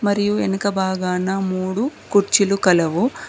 మరియు వెనుక బాగానా మూడు కుర్చీలు కలవు.